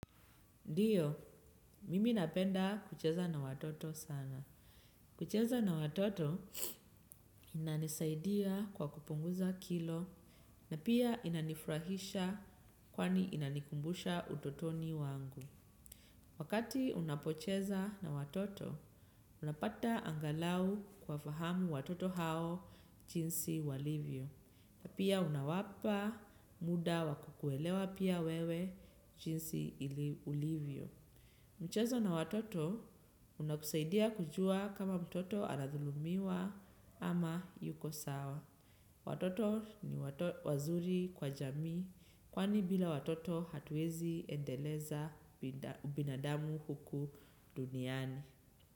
Ndiyo, mimi napenda kucheza na watoto sana. Kucheza na watoto inanisaidia kwa kupunguza kilo na pia inanifurahisha kwani inanikumbusha utotoni wangu. Wakati unapocheza na watoto, unapata angalau kuwa fahamu watoto hao jinsi walivyo. Pia unawapa muda wakukuelewa pia wewe jinsi ulivyo. Michezo na watoto unakusaidia kujua kama mtoto aladhulumiwa ama yuko sawa. Watoto ni wazuri kwa jami kwani bila watoto hatuwezi endeleza binadamu huku duniani.